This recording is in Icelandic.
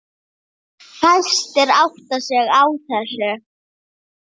Fæstir átta sig á þessu.